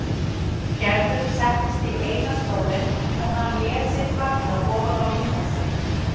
Gerður settist í eina stólinn og hann lét sig falla ofan á rúmið sitt.